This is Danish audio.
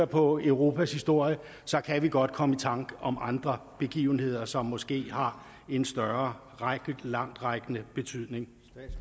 på europas historie kan godt komme i tanke om andre begivenheder som måske har en større og mere langtrækkende betydning